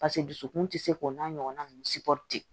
Paseke dusukun tɛ se k'o n'a ɲɔgɔnna nunnu